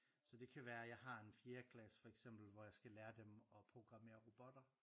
Så det kan være jeg har en fjerdeklasse hvor jeg skal lære dem at programmere robotter